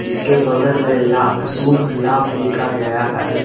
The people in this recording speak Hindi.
जिसके बगल में लात शुभ लाभ लिखा गया है।